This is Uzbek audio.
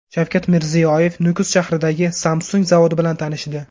Shavkat Mirziyoyev Nukus shahridagi Samsung zavodi bilan tanishdi.